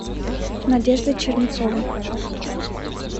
надежды чернецовой